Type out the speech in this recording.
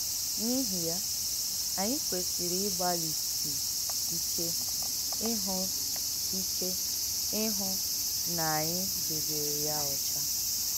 N’ìhí yà, ànyị kwèsìrì ìgbàlìsì ìké ìhụ̀ ìké ìhụ̀ nà ànyị dèbèrè yà ọ́chà.